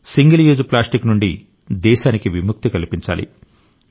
single use plastic నుండి దేశానికి విముక్తి కల్పించాలి